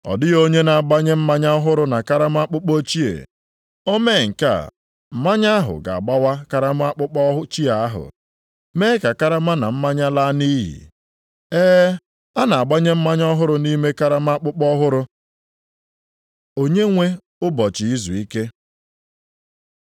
Ọ dịghị onye na-agbanye mmanya ọhụrụ na karama akpụkpọ ochie. O mee nke a, mmanya ahụ ga-agbawa karama akpụkpọ ochie ahụ, mee ka karama na mmanya laa nʼiyi. Ee, a na-agbanye mmanya ọhụrụ nʼime karama akpụkpọ ọhụrụ.” Onyenwe ụbọchị izuike